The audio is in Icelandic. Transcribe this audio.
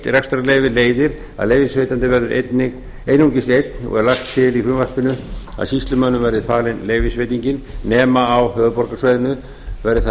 rekstrarleyfi leiðir að leyfisveitandi verður einungis einn og er lagt til í frumvarpinu að sýslumönnum verði falin leyfisveitingin nema á höfuðborgarsvæðinu verði það